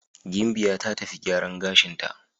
Gimbiya ta tafi gyaran gashinta.